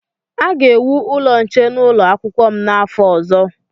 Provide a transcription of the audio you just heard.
A ga-ewu ụlọ nche n'ụlọ akwụkwọ m n'afọ ọzọ.